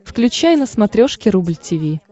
включай на смотрешке рубль ти ви